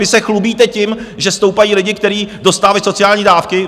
Vy se chlubíte tím, že stoupají lidi, kteří dostávají sociální dávky.